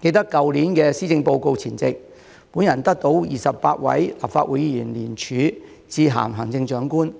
記得去年施政報告前夕，我得到28位立法會議員聯署致函行政長官，